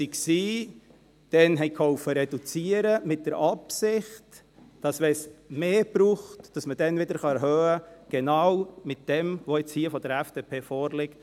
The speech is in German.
Einige waren dabei, halfen damals zu reduzieren, mit der Absicht, dass wenn es mehr braucht, man dann wieder erhöhen kann, nämlich mit genau dem, was jetzt von der FDP vorliegt.